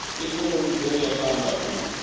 ikonomi dzo ya phanda u